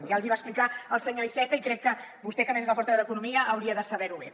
ja els ho va explicar el senyor iceta i crec que vostè que a més és el portaveu d’economia hauria de saber ho bé